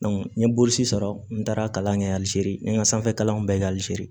n ye boloci sɔrɔ n taara kalan kɛ alizeri n ye n ka sanfɛ kalanw bɛɛ kɛ alizeri